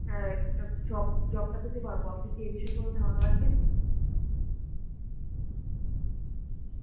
অ্যাঁ এই job job পেতে পারব. আপনি কি এই বিষয়ে কোন ধারণা রাখেন?